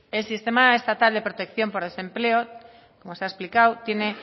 el sistema estatal de protección por desempleo como se ha explicado tiene